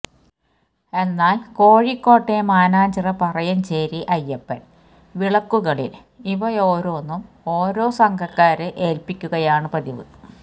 എന്നാല് കോഴിക്കോട്ടെ മാനഞ്ചിറ പറയഞ്ചേരി അയ്യപ്പന് വിളക്കുകളില് ഇവ്യയോരൊന്നും ഒറോസംഘക്കാരെ ഏല്പ്പിക്കുകയാണ് പതിവ്